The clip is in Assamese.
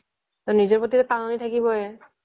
নিজৰ প্ৰতি টান এটা থাকিবই